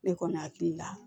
Ne kɔni hakili la